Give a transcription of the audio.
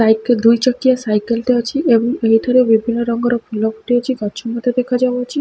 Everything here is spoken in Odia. ବାଇକ୍ ରେ ଦୁଇ ଚକିଆ ସାଇକଲ ଟେ ଅଛି। ଯାଉଥିରେ ଧୋବୋଲିଆ କଲର୍ ର ଫୁଲ ଫୁଟି ଅଛି। ଗଛ ମଧ୍ୟ ଦେଖାଯାଉଅଛି।